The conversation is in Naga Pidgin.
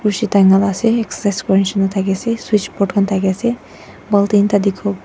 Rushi ase exercise kuri shenna thaki ase switchboard khan thaki ase bultin ekta dekhibo--